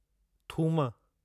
थूम